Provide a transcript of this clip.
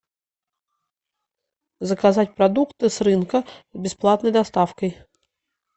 заказать продукты с рынка с бесплатной доставкой